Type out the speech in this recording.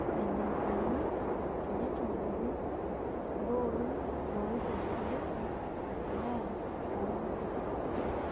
Eneikoni teneitobiri iltooi oitobirieki empuliya oo rkurt.